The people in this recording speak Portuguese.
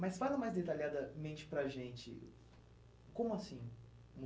Mas fala mais detalhadamente para a gente, como assim